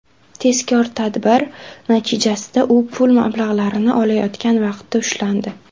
Tezkor tadbir natijasida u pul mablag‘larini olayotgan vaqtda ushlandi.